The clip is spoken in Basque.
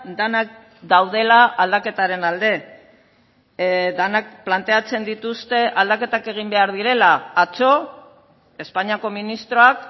denak daudela aldaketaren alde denak planteatzen dituzte aldaketak egin behar direla atzo espainiako ministroak